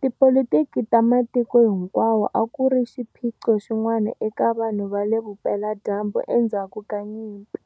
Tipolitiki ta matiko hinkwawo a ku ri xiphiqo xin'wana eka vanhu va le Vupela-dyambu endzhaku ka nyimpi.